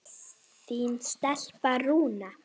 Þín stelpa, Rúna.